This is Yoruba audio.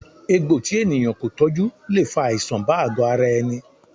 Egbò tí ènìyàn kò tọjú le fa àìsàn bá àgo ara ẹni